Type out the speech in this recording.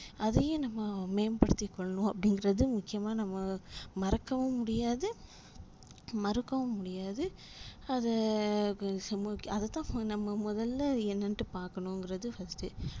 அதையும் நம்ப மேம்படுத்தி கொல்லனும் அப்டிங்குறது முக்கியமா நம்ப மறக்கவும் முடியாது மறுக்கவும் முடியாது அதை அததான் நம்ம மொதல்ல என்னனுட்டு பாக்கனும்ங்குறது வருது